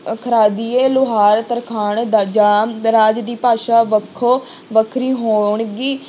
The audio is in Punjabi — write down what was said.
ਲੁਹਾਰ, ਤਰਖਾਣ, ਦਰਜਾ ਦਰਾਜ ਦੀ ਭਾਸ਼ਾ ਵੱਖੋ ਵੱਖਰੀ ਹੋਣਗੀ।